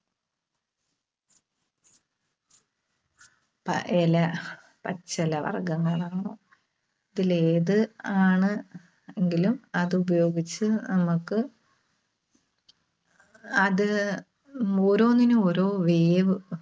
പ ഇല, പച്ചിലവർഗങ്ങളാണോ? ഇതില് ഏത് ആണ് എങ്കിലും അത് ഉപയോഗിച്ച് നമ്മക്ക്, അത് ഓരോന്നിനും ഓരോ വേവ്,